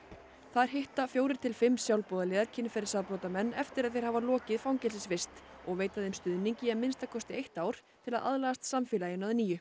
þar hitta fjórir til fimm sjálfboðaliðar kynferðisbrotamenn eftir að þeir hafa lokið fangelsisvist og veita þeim stuðning í að minnsta kosti ár til að aðlagast samfélaginu að nýju